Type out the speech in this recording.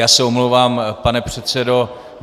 Já se omlouvám, pan předsedo.